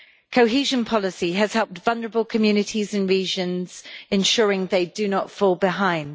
Cohesion policy has helped vulnerable communities and regions, ensuring they do not fall behind.